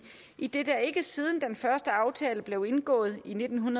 idet der ikke siden den første aftale blev indgået i nitten